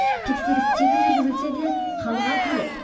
тексеріс тегін жүргізілсе де халық аз келеді